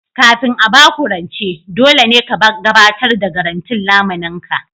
Kafin a ba ku rance, dole ne ka gabatar da garantin lamunin ka